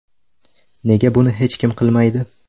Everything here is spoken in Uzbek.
Nega buni hech kim qilmaydi?